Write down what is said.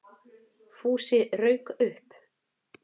Fúsi rauk upp.